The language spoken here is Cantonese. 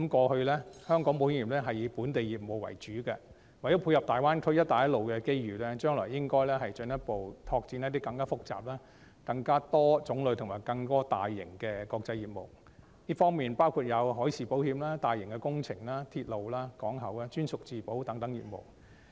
香港保險業過去以本地業務為主，為了配合大灣區及"一帶一路"的機遇，將來應該進一步拓展一些更複雜、更多種類及更大型的國際業務，包括海事保險、大型工程、鐵路、港口、專屬自保等業務。